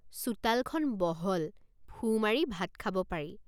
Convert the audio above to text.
চোতালখন বহল ফু মাৰি ভাত খাব পাৰি।